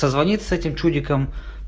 созвониться с этим чудиком